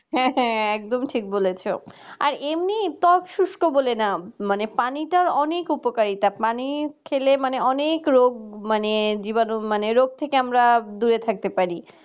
হ্যাঁ হ্যাঁ একদম ঠিক বলেছ আর এমনিই ত্বক শুষ্ক বলে না মানে পানিটার অনেক উপকারিতা মানে পানি ফেলে অনেক রোগ মানে জীবাণু মানে রোগ থেকে আমরা দূরে থাকতে পারি